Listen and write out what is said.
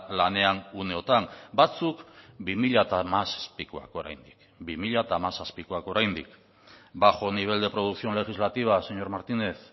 lanean uneotan batzuk bi mila hamazazpikoak oraindik bi mila hamazazpikoak oraindik bajo nivel de producción legislativa señor martínez